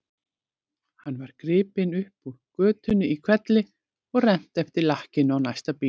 Hann var gripinn upp úr götunni í hvelli og rennt eftir lakkinu á næsta bíl.